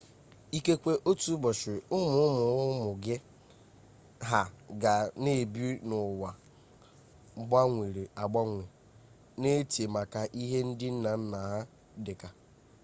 ikekwe otu ụbọchị ụmụ ụmụ ụmụ gị ha ga na-ebi n'ụwa gbanwere agbanwe na-eche maka ihe ndị nna nna ha dị ka